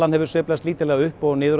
hefur sveiflast upp og niður